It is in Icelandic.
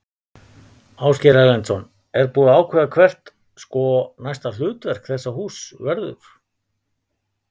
Ásgeir Erlendsson: Er búið að ákveða hvert, sko, næsta hlutverk þessa húss verður?